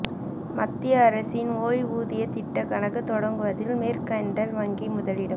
மத்திய அரசின் ஓய்வூதியத் திட்ட கணக்கு தொடங்குவதில் மொ்க்கன்டைல் வங்கி முதலிடம்